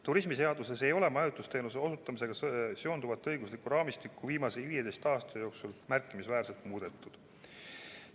Turismiseaduses ei ole majutusteenuse osutamisega seonduvat õiguslikku raamistikku viimase 15 aasta jooksul märkimisväärselt muudetud.